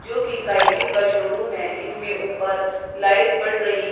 जोकि cycle showroom है इसमें ऊपर लाइट पड़ रही है।